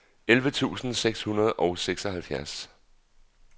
elleve tusind seks hundrede og seksoghalvfjerds